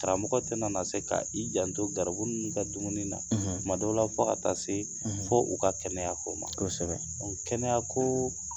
Karamɔgɔ tɛna na se ka i janto garibu ninnu ka dumuni na kumadɔw la fɔ ka taa se fɔ u ka kɛnɛya ko ma, kosɛbɛ, kɛnɛya ko